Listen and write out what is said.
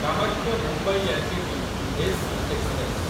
Kamakhya Mumbai LTT. AC express